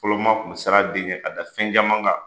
Fɔlɔ maaw kun siran a den ɲɛ k'a da fɛn caman kan,